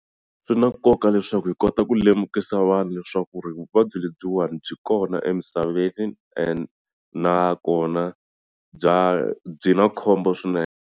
Swi na nkoka leswaku hi kota ku lemukisa vanhu leswaku ri vuvabyi lebyiwani byi kona emisaveni and nakona bya byi na khombo swinene.